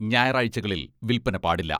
ഞായറാഴ്ചകളിൽ വിൽപ്പന പാടില്ല.